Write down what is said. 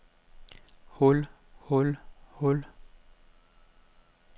hul hul hul